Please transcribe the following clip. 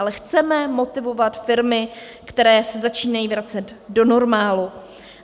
Ale chceme motivovat firmy, které se začínají vracet do normálu.